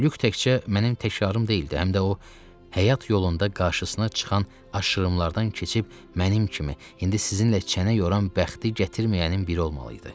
Lük təkcə mənim təkrarım deyildi, həm də o həyat yolunda qarşısına çıxan aşırımlardan keçib mənim kimi indi sizinlə çənə yoran bəxti gətirməyənin biri olmalı idi.